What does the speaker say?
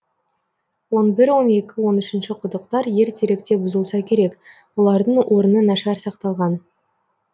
он бір он екі он үшінші құдықтар ертеректе бұзылса керек олардың орны нашар сақталған